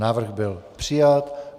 Návrh byl přijat.